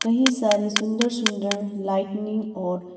कहीं सारे सुंदर सुंदर लाइटनिंग और--